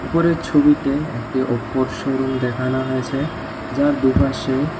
উপরের ছবিতে একটি অপোর শোরুম দেখানো হয়েছে যার দুপাশে--